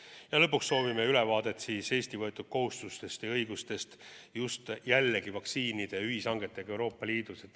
Ja lõpuks soovime ülevaadet Eesti võetud kohustustest ja õigustest seoses vaktsiinide ühishangetega Euroopa Liidus.